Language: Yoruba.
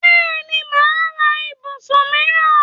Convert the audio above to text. Bẹ́ẹ̀ni, máà ra ibùsùn míìràn